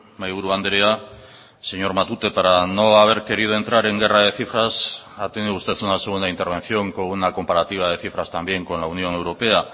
mahaiburu andrea señor matute para no haber querido entrar en guerra de cifras ha tenido usted una segunda intervención con una comparativa de cifras también con la unión europea